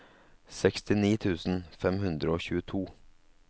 sekstini tusen fem hundre og tjueto